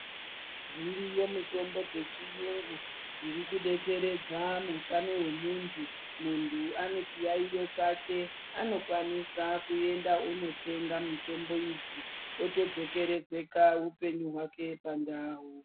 Dziriyo mitombo dzechiyungu dziri kudetsera mumwiri mwemuntu. Muntu ane chiyaiyo chake anokwanisa kuenda kunotenga mitombo idzi otodzokeredza utano hwake pandau.